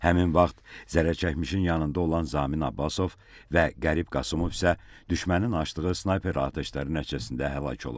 Həmin vaxt zərərçəkmişin yanında olan Zamin Abbasov və Qərib Qasımov isə düşmənin açdığı snayper atəşləri nəticəsində həlak olub.